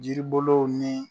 Jiri bolow nin.